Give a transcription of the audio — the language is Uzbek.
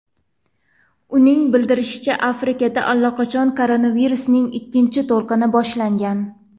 Uning bildirishicha, Afrikada allaqachon koronavirusning ikkinchi to‘lqini boshlangan.